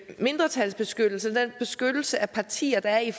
mindretalsbeskyttelse med beskyttelse af partier der er i